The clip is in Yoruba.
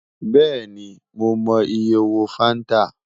Bẹẹni Mo mọ iye owo fanta